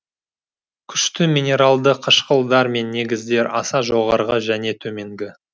күшті минералды қышқылдар мен негіздер аса жоғарғы және төменгі